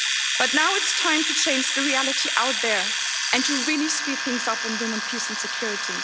But now it's time to change the reality out there and to really speed things up on women, peace and security.